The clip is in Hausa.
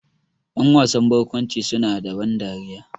Ƴan wasan barkwanci su na da ban dariya